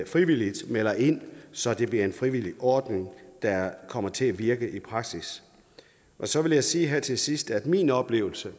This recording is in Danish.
frivilligt melder ind så det bliver en frivillig ordning der kommer til at virke i praksis så vil jeg sige her til sidst at min oplevelse